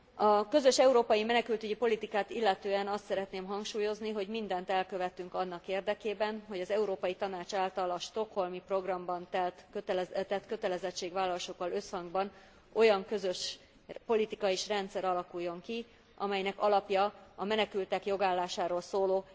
A közös európai menekültügyi politikát illetően azt szeretném hangsúlyozni, hogy mindent elkövetünk annak érdekében, hogy az Európai Tanács által a Stockholmi Programban tett kötelezettségvállalásokkal összhangban olyan közös politika és rendszer alakuljon ki, amelynek alapja a menekültek jogállásáról szóló